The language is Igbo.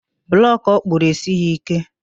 Blọkụ ọkpụrụ esighi ike.